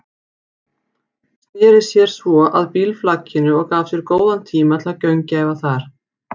Sneri sér svo að bílflakinu og gaf sér góðan tíma til að gaumgæfa það.